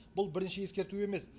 бұл бірінші ескерту емес